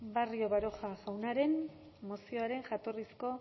barrio baroja jaunaren mozioaren jatorrizko